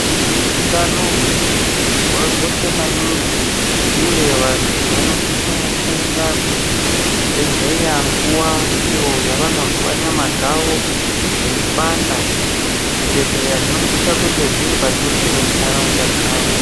Utano hwemuntu nje hwakakosha maningi uye vantu vanosisa kuenda kuzvibhedhleya nguwa iyo yavanozwa nyama dzavo dzeipanda, zvibhedhleya zvinosisa kunge zviripadhuze nenharaunda dzavo.